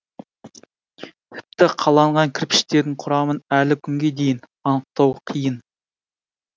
тіпті қаланған кірпіштердің құрамын әлі күнге дейін анықтау қиын